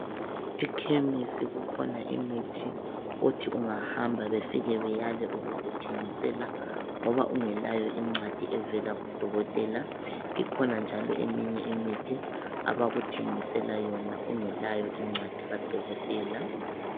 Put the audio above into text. Ekhemesi kukhona imithi othi ungahamba wefike weyale ukuthengisela, ngoba ungelayo ncwadi evela kudotela. Ikhona njalo eminye imithi abakuthengisela yona engelayo incwadi kadokotela.